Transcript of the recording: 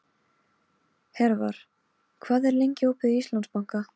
Hervar, hvað er lengi opið í Íslandsbanka?